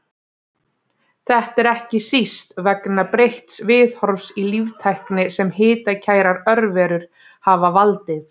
Þetta er ekki síst vegna breytts viðhorfs í líftækni sem hitakærar örverur hafa valdið.